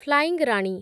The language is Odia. ଫ୍ଲାଇଂ ରାଣୀ